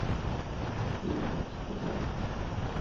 ильдар автоподбор